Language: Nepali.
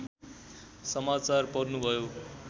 समाचार पढ्नुभयो